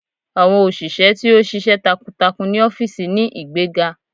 Awọn oṣiṣẹ ti o ṣiṣẹ takuntakun ni ọfiisi ni igbega